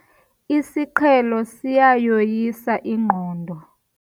Isiqhelo siyayoyisa ingqondo.